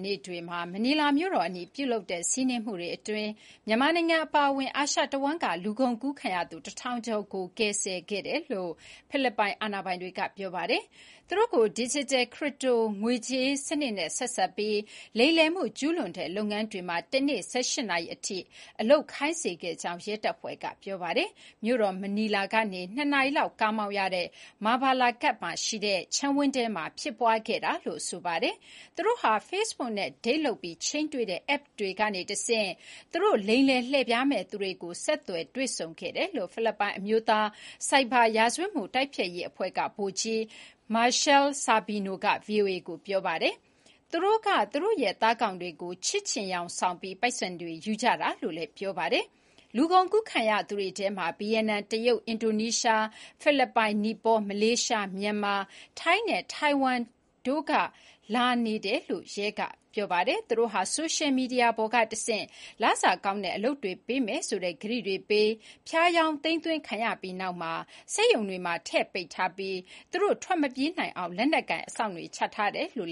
နေ့တွေမှာ မနီလာမြို့တော်အနီး ပြုလုပ်ခဲ့တဲ့ စီးနင်းမှုအတွင်း မြန်မာနိုင်ငံ အပါအဝင် အာရှတဝန်းက လူကုန်ကူးခံရသူ ၁,၀၀၀ ကျော်ကို ကယ်ဆယ်ခဲ့တယ်လို့ ဖိလစ်ပိုင် အာဏာပိုင်တွေက ပြောပါတယ်။ သူတို့ကို ဒစ်ဂျစ်တယ် ခရစ်ပတိုငွေကြေးစနစ်နဲ့ ဆက်စပ်ပြီး လိမ်လည်မှုကျူးလွန်တဲ့ လုပ်ငန်းမှာ တနေ့ ၁၈ နာရီအထိ အလုပ်ခိုင်းစေခဲ့ကြောင်း ရဲတပ်ဖွဲ့က ပြောပါတယ်။ မြို့တော် မနီလာကနေ ၂ နာရီလောက် ကားမောင်းရတဲ့ Mabalacat မှာရှိတဲ့ ခြံဝင်းထဲမှာ ဖြစ်ပွားခဲ့တာလို့ ဆိုပါတယ်။ “သူတို့ဟာ Facebook နဲ့ ဒိတ်လုပ်ပြီး ချိန်းတွေ့တဲ့ အက်ပ်တွေကတဆင့် သူတို့ လိမ်လည်လှည့်ဖျားမယ့် သူတွေကို ဆက်သွယ် တွေ့ဆုံခဲ့တယ်” လို့ ဖိလစ်ပိုင် အမျိုးသားဆိုင်ဘာ ရာဇဝတ်မှုတိုက်ဖျက်ရေးအဖွဲ့က ဗိုလ်ကြီး Michelle Sabino က VOA ကို ပြောပါတယ်။ "သူတို့က သူတို့ရဲ့ သားကောင်တွေကို ချစ်ချင်ယောင်ဆောင်ပြီး ပိုက်ဆံတွေ ယူကြတာ"လို့ ဆိုပါတယ်။ လူကုန်ကူး ခံရသူတွေထဲမှာ ဗီယက်နမ်၊ တရုတ်၊ အင်ဒိုနီးရှား၊ ဖိလစ်ပိုင်၊ နီပေါ၊ မလေးရှား၊ မြန်မာ၊ ထိုင်းနဲ့ ထိုင်ဝမ်တိုးလာနေတယ်လို့ ရဲတွေက ပြောပါတယ်။ သူတို့ဟာ ဆိုရှယ်မီဒီယာပေါ်က တဆင့် လစာကောင်းတဲ့ အလုပ်တွေပေးမယ်ဆိုတဲ့ ကတိတွေပေး ဖြားယောင်းသိမ်းသွင်းခံခဲ့ရပြီး နောက်မှာ စက်ရုံတွေမှာ ထည့်ပိတ်ထားပြီး သူတို့ ထွက်မပြေးနိုင်အောင် လက်နက်ကိုင် အစောင့်တွေ ချထားတယ်လို့